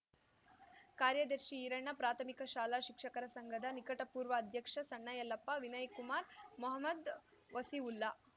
ಕಾರ್ಯದರ್ಶಿ ಈರಣ್ಣ ಪ್ರಾಥಮಿಕ ಶಾಲಾ ಶಿಕ್ಷಕರ ಸಂಘದ ನಿಕಟ ಪೂರ್ವ ಅಧ್ಯಕ್ಷ ಸಣ್ಣ ಯಲ್ಲಪ್ಪ ವಿನಯ ಕುಮಾರ್‌ ಮಹಮದ್‌ ವಸೀವುಲ್ಲಾ